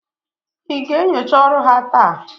ị ga-enyocha ọrụ ha taa?